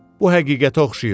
Bu həqiqətə oxşayır.